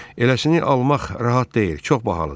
Eləsini almaq rahat deyil, çox bahalıdır.